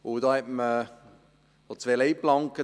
Da spricht man von zwei Leitplanken: